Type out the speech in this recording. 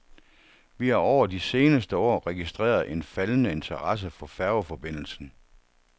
Vi har over de seneste år registreret en faldende interesse for færgeforbindelsen.